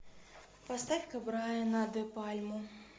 поставь ка брайана де пальму